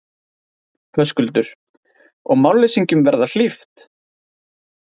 Höskuldur: Og málleysingjum verða hlíft?